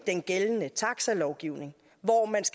den gældende taxalovgivning hvor man